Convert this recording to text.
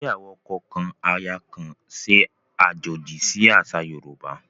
Ìgbéyàwó ọkọ kan, aya kan ṣe àjòjì sì àṣà Yorùbá